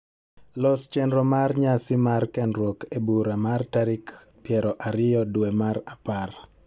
Los chenro mar nyasi mar kendruok e bura mar tarik piero ariyo dwe mar apar